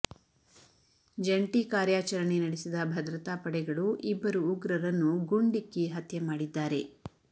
ಜಂಟಿ ಕಾರ್ಯಾಚರಣೆ ನಡೆಸಿದ ಭದ್ರತಾ ಪಡೆಗಳು ಇಬ್ಬರು ಉಗ್ರರನ್ನು ಗುಂಡಿಕ್ಕಿ ಹತ್ಯೆ ಮಾಡಿದ್ದಾರೆ